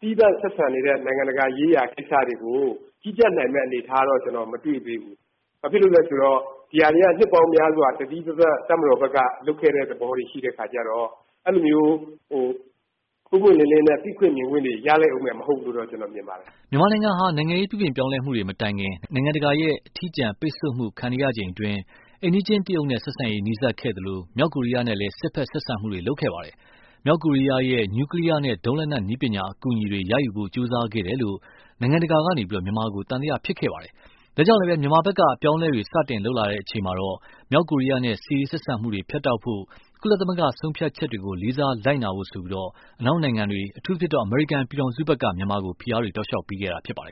သီးသန့်ဆက်ဆံနေတဲ့ နိုင်ငံတကာရေးရာ ကိစ္စတွေကို ကြီးကြပ်နိုင်မယ့်အနေအထားကတော့ ကျနော်မတွေ့သေးဘူး။ ဘာဖြစ်လို့လဲဆိုတော့ ဒါတွေက နှစ်ပေါင်းများစွာ သီးသန့်တပ်မတော်ဘက်က လုပ်ခဲ့တာတွေဖြစ်တဲ့အခါကျတော့ အဲလိုမျိုးပွင့်ပွင့်လင်းလင်းနဲ့ မြင်ခွင့်တွေရခဲ့မယ်မဟုတ်ဘူးလို့ ကျနော်မြင်ပါတယ်။” မြန်မာနိုင်ငံဟာ နိုင်ငံရေးပြုပြင်ပြောင်းလဲမှုတွေမတိုင်ခင် နိုင်ငံတကာရဲ့အထီးကျန်ပိတ်ဆို့မှုခံနေရချိန်အတွင်းမှာ အိမ်နီးချင်းတရုတ်နဲ့ ဆက်ဆံရေးနီးစပ်သလို၊ မြောက်ကိုရီးယားနဲ့လည်း စစ်ဖက်ဆက်ဆံမှုတွေ လုပ်ခဲ့ပါတယ်။ မြောက်ကိုရီယားရဲ့ နူကလီယားနဲ့ ဒုံးလက်နက် နည်းပညာ အကူအညီတွေ ရယူဖို့ ကြိုးစားခဲ့တယ်လို့ နိုင်ငံတကာက မြန်မာကို သံသယ ဖြစ်ခဲ့ကြပါတယ်။ ဒါကြောင့်လည်း မြန်မာဖက်က အပြောင်းအလဲတွေ စတင်လုပ်လာချိန်မှာတော့ မြောက်ကိုရီးယားနဲ့ စစ်ရေးဆက်ဆံမှုဖြတ်တောက်ဖို့၊ ကုလသမဂ္ဂ ဆုံးဖြတ်ချက်တွေကို လေးစားလိုက်နာဖို့ အနောက်နိုင်ငံ့တွေ အထူးသဖြင့် အမေရိကန်ပြည်ထောင်စုက မြန်မာကို ဖိအားတွေ ပေးခဲ့တာဖြစ်ပါတယ်